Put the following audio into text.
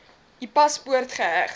u paspoort geheg